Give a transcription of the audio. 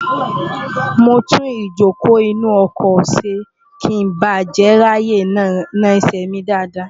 mo tún ìjókòó inú ọkọ̀ ṣe kí n ba jè ráàyè na ẹsẹ̀ mi dáadáa